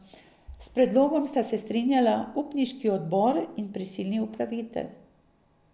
S predlogom sta se strinjala upniški odbor in prisilni upravitelj.